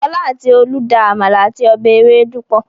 Fọl àti Olú da àmàlà àti ọbẹ̀ ewédú pọ̀.